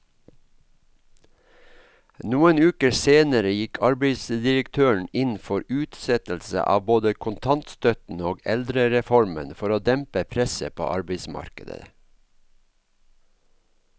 Noen uker senere gikk arbeidsdirektøren inn for utsettelse av både kontantstøtten og eldrereformen for å dempe presset på arbeidsmarkedet.